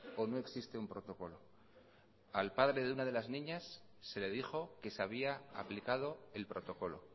o no existe un protocolo al padre de una de las niñas se le dijo que se había aplicado el protocolo